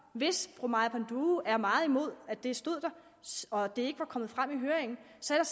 hvis fru maja panduro er meget imod at det stod der og at det ikke var kommet frem i høringen